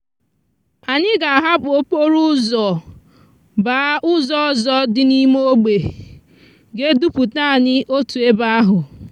anyi ga ahapú okporo úzò gbaa úzò òzò di n'ime ogbe ga eduputa anyi otu ebe ahú.